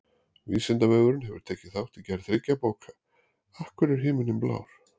Vísindavefurinn hefur tekið þátt í gerð þriggja bóka: Af hverju er himinninn blár?